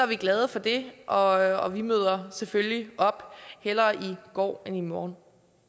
vi glade for det og vi møder selvfølgelig op hellere i går end i morgen